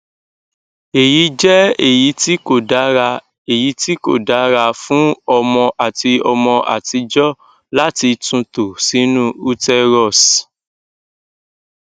eyi jẹ eyiti ko dara eyiti ko dara fun ọmọ ati ọmọ atijọ lati tunto sinu uterus